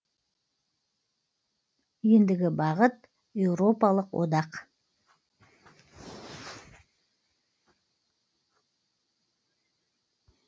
ендігі бағыт еуропалық одақ